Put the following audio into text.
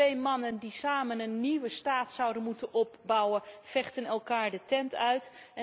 Twee mannen die samen een nieuwe staat zouden moeten opbouwen, vechten elkaar de tent uit.